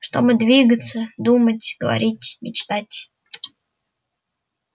чтобы двигаться думать говорить мечтать